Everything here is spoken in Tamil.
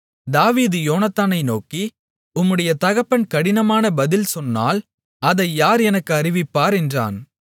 தாவீது யோனத்தானை நோக்கி உம்முடைய தகப்பன் கடினமான பதில் சொன்னால் அதை யார் எனக்கு அறிவிப்பார் என்றான்